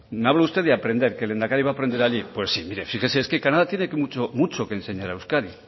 me habla usted de aprender que el lehendakari va aprender allí pues sí mire fíjese es que canadá tiene mucho que enseñar a euskadi